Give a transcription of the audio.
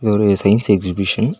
இது ஒரு science exhibition .